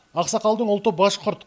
ақсақалдың ұлты башқұрт